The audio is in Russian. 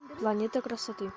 планета красоты